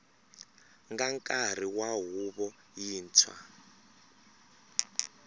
nga nkarhi wa huvo yintshwa